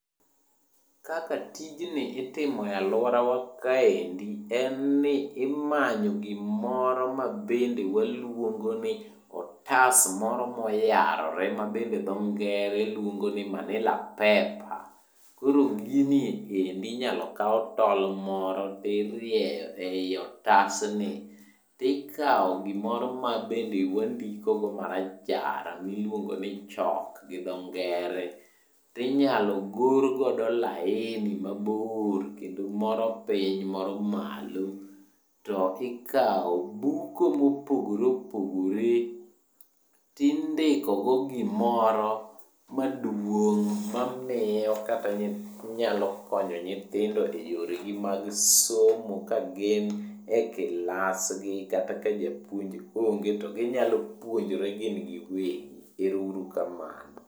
Kaka tijni itimo e alworawa kaendi en ni imanyo gimoro ,mabende waluongo ni otas moro moyarore ma bende tho ngere luongoni manilla paper. Koro gini endi inyalo kaw tol moro tirieyo ei otasni tikawo gimoro mabende wandikogo marachar miluongoni chalk gi tho ngere tinyalo gor godo laini mabor kendo moro piny moro malo to ikawo buko mopogore opogore tindiko go gimoro maduong' mamiyo nyalo konyo nyithindo e yoregi mag somo ka gin e kilasgi kata ka japuonj onge to ginyalo puonjre gin giwegi. Ero uru kamano. Kaka tijni itimo e alworawa kaendi en ni imanyo gimoro mabende waluongo ni otas moro moyarore ma bende dho ngere luongoni manilla paper. Koro gini endi inyalo kaw tol moro tirieyo ei otasni tikawo gimoro mabende wandikogo marachar miluongoni chalk gi dho ngere tinyalo gor godo laini mabor kendo moro piny moro malo to ikawo buko mopogore opogore tindiko go gimoro maduong' mamiyo kata inyalo konyo nyithindo e yoregi mag somo ka gin e kilasgi kata ka japuonj onge to ginyalo puonjre gin giwegi. Ero uru kamano.